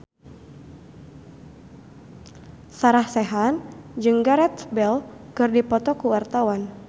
Sarah Sechan jeung Gareth Bale keur dipoto ku wartawan